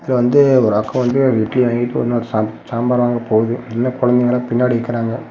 இது வந்து ஒரு அக்கா வந்து இட்லி வாங்கிட்டு உடனே சாம்பார் வாங்க போது இன்னும் குழம்பு வாங்குறவங்க பின்னாடி நிக்கிறாங்க.